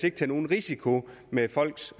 ikke tage nogen risiko med folks